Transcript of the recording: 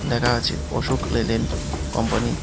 লেখা আছে Ashok Leyland company.